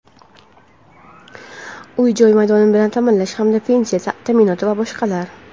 uy-joy maydoni bilan ta’minlash hamda pensiya ta’minoti va boshqalar.